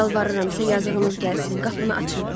Yalvarıram sizə, yazığınız gəlsin, qapını açın.